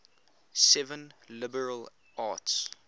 seven liberal arts